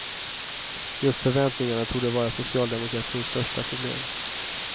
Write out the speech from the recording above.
Just förväntningarna torde vara socialdemokratins största problem.